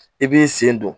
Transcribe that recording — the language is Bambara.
I b'i sen don